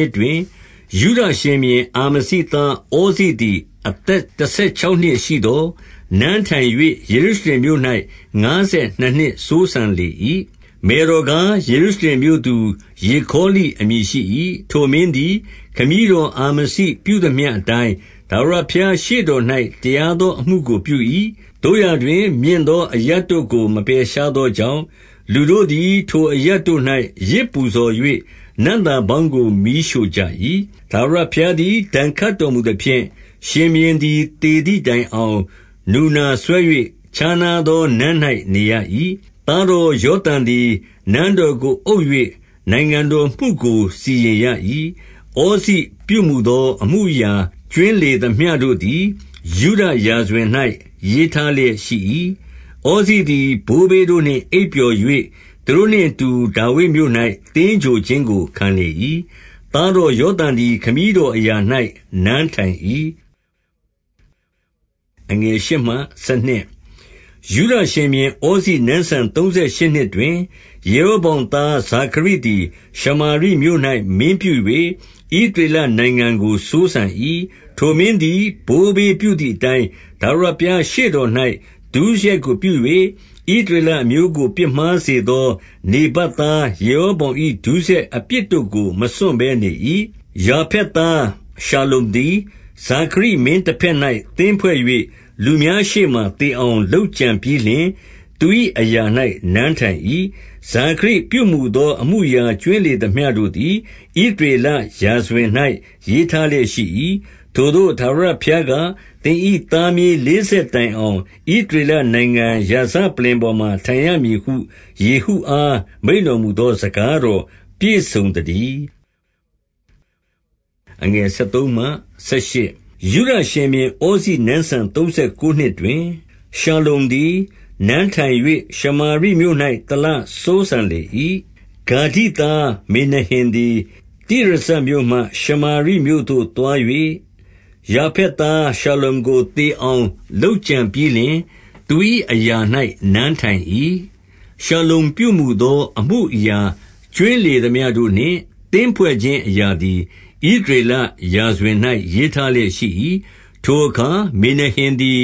ှစ်တွင်၊ 2 ယုဒရှင်ဘုရင် အာမဇိသား ဩဇိသည် အသက် တဆယ်ခြောက်နှစ်ရှိသော်၊ နန်းထိုင်၍ ယေရုရှလင်မြို့၌ ငါးဆယ်နှစ်နှစ်စိုးစံလေ၏။ မယ်တော်ကား၊ ယေရုရှလင် မြို့သူ ယေခေါလိအမည်ရှိ၏။ 3 ထိုမင်းသည် ခမည်းတော်အာမဇိပြုသမျှ အတိုင်း ထာဝရဘုရားရှေ့တော်၌ တရားသောအမှုကို ပြု၏။ 4 သို့ရာတွင် မြင့်သောအရပ်တို့ကို မပယ်ရှားသော ကြောင့်၊ လူတို့သည် ထိုအရပ်တို့၌ယဇ်ပူဇော်၍ နံ့သာ ပေါင်းကို မီးရှို့ကြ၏။ 5 ထာဝရဘုရားသည် ဒဏ်ခတ်တော်မူသဖြင့်၊ ရှင်ဘုရင်သည် သေသည်တိုင်အောင် နူနာစွဲ၍ ခြားနား သော နန်း၌နေရ၏။ သားတော် ယောသံသည် နန်းတော် ကိုအုပ်၍ နိုင်ငံတော်မှုကို စီရင်ရ၏။ 6 ဩဇိပြုမူသော အမှုအရာကြွင်းလေသမျှ တို့သည် ယုဒရာဇဝင်၌ ရေးထားလျက်ရှိ၏။ 7 ဩဇိသည် ဘိုးဘေးတို့နှင့် အိပ်ပျော်၍၊ သူတို့နှင့် အတူ ဒါဝိဒ်မြို့၌ သင်္ဂြိုဟ်ခြင်းကို ခံလေ၏။ သားတော် ယောသံသည် ခမည်းတော်အရာ၌ နန်းထိုင်၏။ 8 ယုဒရှင်ဘုရင် ဩဇိနန်းစံသုံးဆယ်ရှစ်နှစ်တွင်၊ ယေရောဗောင်သားဇာခရိသည် ရှမာရိမြို့၌မင်းပြု၍ ဣသရေလနိုင်ငံကိုစိုးစံ၏။ 9 ထိုမင်းသည် ဘိုးဘေးပြုသည်အတိုင်း၊ ထာဝရ ဘုရားရှေ့တော်၌ ဒုစရိုက်ကိုပြု၍၊ ဣသရေလအမျိုးကို ပြစ်မှားစေသောနေဗတ်သား ယေရောဗောင်၏ ဒုစရိုက် အပြစ်တို့ကို မစွန့်ဘဲနေ၏။ 10 ယာဖက်သားရှလ္လုံသည် ဇာခရိမင်းတဘက်၌ သင်းဖွဲ့၍ လူများရှေ့မှာ သေအောင်လုပ်ကြံပြီးလျှင် သူ၏ အရာ၌ နန်းထိုင်၏။ 11 ဇာခရိပြုမူသော အမှုအရာကြွင်းလေသမျှတို့ သည် ဣသရေလရာဇဝင်၌ ရေးထားလျက်ရှိ၏။ 12 ထိုသို့ ထာဝရဘုရားက၊ သင်၏သားမြေးလေး ဆက်တိုင်အောင် ဣသရေလနိုင်ငံရာဇပလ္လင်ပေါ်မှာ ထိုင်ရမည်ဟု ယေဟုအား မိန့်တော်မူ သောစကားတော် ပြည့်စုံသတည်း။ 13 ယုဒရှင်ဘုရင် ဩဇိနန်းစံ သုံးဆယ်ကိုးနှစ်တွင် ရှလ္လုံသည် နန်းထိုင်၍၊ ရှမာရိမြို့၌ တလစိုးစံလေ၏။ 14 ဂါဒိသားမေနဟင်သည် တိရဇမြို့မှ ရှမာရိမြို့ သို့သွား၍၊ ယာဖက်သား ရှလ္လုံကိုသေအောင် လုပ်ကြံပြီး လျှင်၊ သူ၏အရာ၌ နန်းထိုင်၏။ 15 ရှလ္လုံပြုမူသောအမှုအရာကြွင်းလေသမျှတို့နှင့် သင်းဖွဲ့ခြင်းအရာသည် ဣသရေလရာဇဝင်၌ ရေးထား လျက်ရှိ၏။ 16 ထိုအခါ မေနဟင်သည်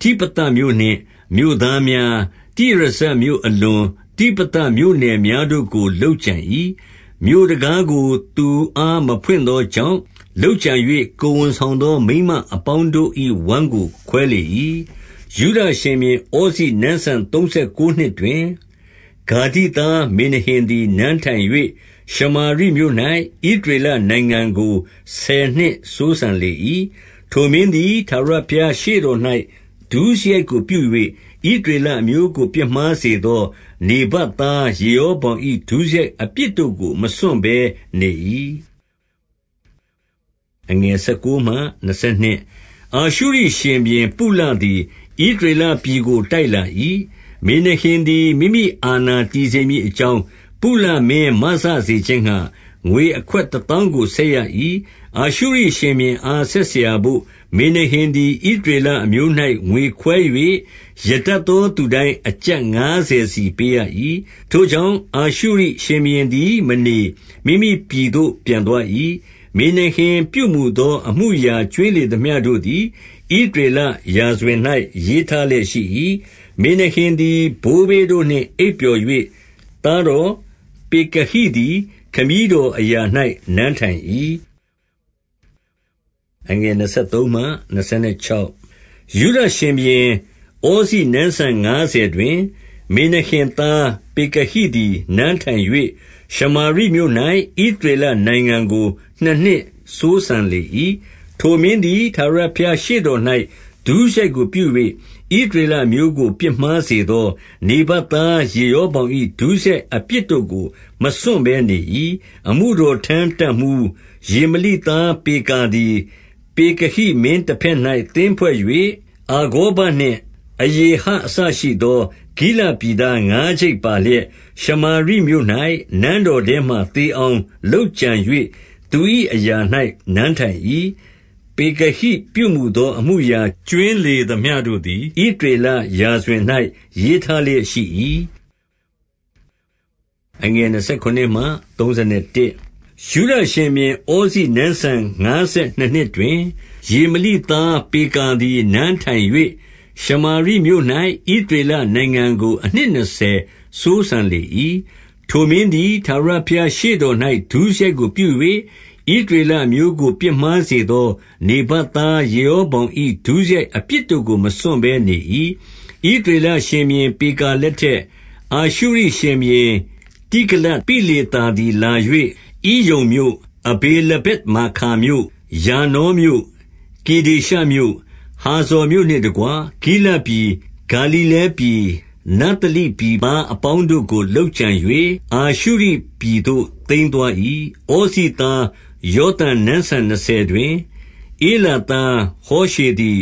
တိဖသမြို့နှင့်မြို့သား များ၊ တိရဇမြို့ အလွန်တိဖသမြို့နယ်များတို့ကို လုပ်ကြံ ၏။ မြို့တံခါးကို သူ့အား မဖွင့်သောကြောင့် လုပ်ကြံ၍ ကိုယ်ဝန်ဆောင်သော မိန်းမအပေါင်းတို့၏ ဝမ်းကို ခွဲလေ၏။ 17 ယုဒရှင်ဘုရင်ဩဇိနန်းစံသုံးဆယ်ကိုးနှစ်တွင်၊ ဂါဒိသားမေနဟင်သည် နန်းထိုင်၍၊ ရှမာရိမြို့၌ ဣသ ရေလနိုင်ငံကို ဆယ်နှစ်စိုးစံလေ၏။ 18 ထိုမင်းသည် ထာဝရဘုရားရှေ့တော်၌ ဒုစရိုက် ကိုပြု၍၊ ဣသရေလအမျိုးကို ပြစ်မှားစေသော နေဗတ် သား ယေရောဗောင်၏ ဒုစရိုက်အပြစ်တို့ကို မစွန့်ဘဲ နေ၏။ 19 အာရှုရိရှင်ဘုရင် ပုလသည် ဣသရေလပြည်ကို တိုက်လာ၏။ မေနဟင်သည် မိမိအာဏာတည်စေမည် အကြောင်း၊ ပုလမင်းမစစေခြင်းငှါ၊ ငွေအခွက်တသောင်း ကို ဆက်ရ၏။ 20 အာရှုရိရှင်ဘုရင်အား ဆက်စရာဘို့၊ မေနဟင် သည် ဣသရေလ အမျိုး၌ငွေခွဲ၍၊ ရတတ်သော သူတိုင်း အကျပ်ငါးဆယ်စီပေးရ၏။ ထိုကြောင့် အာရှုရိရှင်ဘုရင် သည် မနေ၊ မိမိပြည်သို့ ပြန်သွား၏။ 21 မေနဟင်ပြုမူသော အမှုအရာကြွင်းလေသမျှ တို့သည် ဣသရေလရာဇဝင်၌ ရေးထားလျက်ရှိ၏။ 22 မေနဟင်သည် ဘိုးဘေးတို့နှင့် အိပ်ပျော်၍၊ သားတော်ပေကတိသည် ခမည်းတော်အရာ၌နန်းထိုင်၏။ 23 ယုဒရှင်ဘုရင် ဩဇိနန်းစံငါးဆယ်တွင်၊ မေနဟင်သားပေကတိသည် နန်းထိုင်၍၊ ရှမာရိမြို့၌ ဣသရေလနိုင်ငံကို နှစ်နှစ်စိုးစံလေ၏။ 24 ထိုမင်းသည် ထာဝရဘုရားရှေ့တော်၌ ဒုစရိုက် ကိုပြု၍၊ ဣသရေလအမျိုးကိုပြစ်မှားစေသော နေဗတ် သား ယေရောဗောင်၏ ဒုစရိုက်အပြစ်တို့ကို မစွန့်ဘဲ နေ၏။ 25 အမှုတော်ထမ်းတပ်မှူး၊ ရေမလိသားပေကာသည် ပေကဟိမင်းတဘက်၌ သင်းဖွဲ့၍၊ အာဂေါဘနှင့် အရေဟအစရှိသော ဂိလဒ်ပြည်သား ငါးကျိပ်ပါလျက်၊ ရှမာရိမြို့၌နန်းတော်ထဲမှာ သေအောင်လုပ်ကြံ၍ သူ၏ အရာ၌ နန်းထိုင်၏။ 26 ပေကတိပြုမူသော အမှုအရာကြွင်းလေသမျှတို့ သည် ဣသရေလရာဇဝင်၌ ရေးထားလျက်ရှိ၏။ 27 ယုဒရှင်ဘုရင် ဩဇိနန်းစံငါးဆယ်နှစ်နှစ်တွင်၊ ရေမလိသားပေကာသည် နန်းထိုင်၍ ရှမာရိမြို့၌ ဣသ ရေလနိုင်ငံကို အနှစ်နှစ်ဆယ် စိုးစံလေ၏။ 28 ထိုမင်းသည် ထာဝရဘုရားရှေ့တော်၌ ဒုစရိုက် ကိုပြု၍၊ ဣသရေလအမျိုးကို ပြစ်မှားစေသော နေဗတ် သား ယေရောဗောင်၏ ဒုစရိုက်ကိုပြု၍၊ ဣသရေလ အမျိုးကို ပြစ်မှားစေသော နေဗတ်သား ယေရောဗောင်၏ ဒုစရိုက် အပြစ်တို့ကို မစွန့်ဘဲနေ၏။ 29 ဣသရေလရှင်ဘုရင် ပေကာလက်ထက်၊ အာရှု ရိရှင်ဘုရင် တိဂလတ်ပိလေသာသည်လာ၍ ဣယုန်မြို့၊ အဗေလဗက်မာခါမြို့၊ ယာနောမြို့၊ ကေဒေရှမြို့၊ ဟာဇော် မြို့နှင့်တကွ ဂိလဒ်ပြည်၊ ဂါလိလဲပြည်၊ နဿလိ ပြည်သား အပေါင်းတို့ကို လုပ်ကြံ၍၊ အာရှုရိပြည်သို့သိမ်းသွား၏။ 30 ဩဇိသား ယောသံနန်းစံနှစ်ဆယ်တွင်၊ ဧလာ သားဟောရှေသည်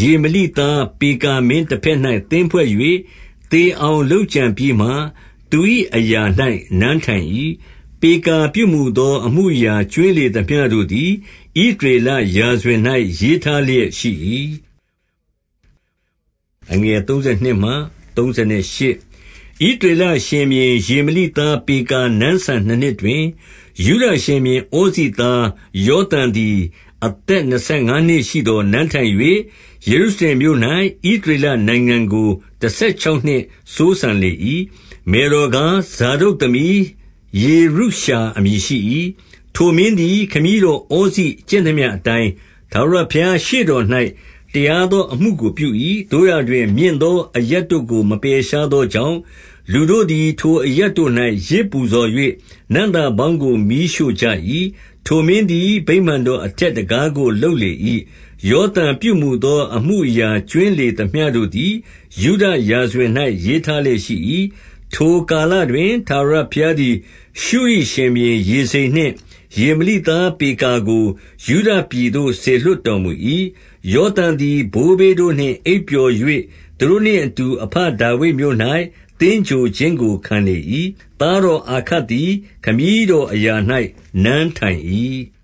ရေမလိသား ပေကာမင်းတဘက်၌ သင်းဖွဲ့၍ သေအောင်လုပ်ကြံပြီးမှ၊ သူ၏အရာ၌ နန်းထိုင် ၏။ 31 ပေကာပြုမူသောအမှုအရာ ကြွင်းလေသမျှတို့ သည် ဣသရေလရာဇဝင်၌ရေးထားလျက်ရှိ၏။ 32 ဣသရေလရှင်ဘုရင် ရေမလိသား ပေကာ နန်းစံနှစ်နှစ်တွင်၊ ယုဒရှင်ဘုရင်ဩဇိသား ယောသံသည် အသက်နှစ်ဆယ်ငါးနှစ်ရှိသော် နန်းထိုင်၍၊ 33 ယေရုရှလင်မြို့၌ ဣသရေလနိုင်ငံကို တဆယ် ခြောက်နှစ်စိုးစံလေ၏။ မယ်တော်ကား၊ ဇာဒုတ်သမီး ယေရုရှာအမည်ရှိ၏။ 34 ထိုမင်းသည် ခမည်းတော် ဩဇိကျင့်သမျှ အတိုင်း၊ ထာဝရဘုရား ရှေ့တော်၌ တရားသော အမှုကို ပြု၏။ 35 သို့ရာတွင် မြင့်သောအရပ်တို့ကို မပယ်ရှားသော ကြောင့်၊ လူတို့သည် ထိုအရပ်တို့၌ ယဇ်ပူဇော်၍၊ နံ့သာ ပေါင်းကိုမီးရှို့ကြ၏။ ထိုမင်းသည် ဗိမာန်တော်အထက် တံခါးကို လုပ်လေ၏။ 36 ယောသံပြုမူသော အမှုအရာကြွင်းလေသမျှ တို့သည် ယုဒရာဇဝင်၌ ရေးထားလျက်ရှိ၏၊ 37 ထိုကာလတွင် ထာဝရဘုရားသည် ရှုရိရှင်ဘုရင် ရေဇိန်နှင့် ရေမလိသားပေကာကို ယုဒပြည်သို့ စေလွှတ် တော်မူ၏။ 38 ယောသံသည် ဘိုးဘေးတို့နှင့် အိပ်ပျော်၍၊ သူတို့နှင့်အတူ အဘဒါဝိဒ်မြို့၌ သင်္ဂြိုဟ်ခြင်းကိုခံလေ၏။ သားတော်အာခတ်သည် ခမည်းတော်အရာ၌ နန်းထိုင် ၏။